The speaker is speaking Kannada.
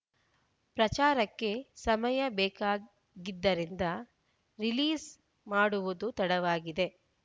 ಪ್ರಚಾರಕ್ಕೆ ಸಮಯ ಬೇಕಾಗಿದ್ದರಿಂದ ರಿಲೀಸ್‌ ಮಾಡುವುದು ತಡವಾಗಿದೆ